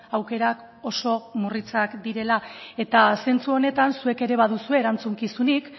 aukerak oso murritzak direla zentzu honetan zuek ere baduzue erantzukizunik